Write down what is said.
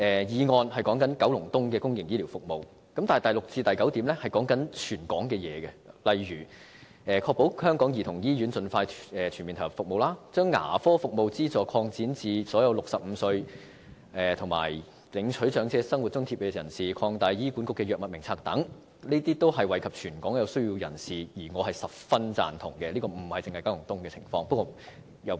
議案的題目是九龍東的公營醫療服務，但第六至九點卻是關乎全港的內容，例如確保香港兒童醫院盡快全面投入服務、擴展牙科服務資助項目至所有65歲或以上領取長者生活津貼的長者、擴大醫管局《藥物名冊》等，這些均能惠及全港有需要人士，我是十分贊同的。